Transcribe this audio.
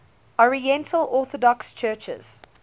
oriental orthodox churches